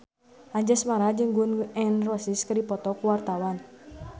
Anjasmara jeung Gun N Roses keur dipoto ku wartawan